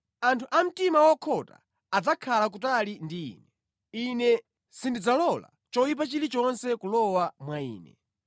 Anthu a mtima wokhota adzakhala kutali ndi ine; ine sindidzalola choyipa chilichonse kulowa mwa ine.